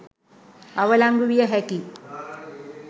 අවලංගු විය හැකි.